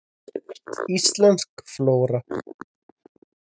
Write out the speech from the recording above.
Íslensk flóra.